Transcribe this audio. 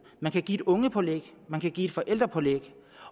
man kan give et ungepålæg man kan give et forældrepålæg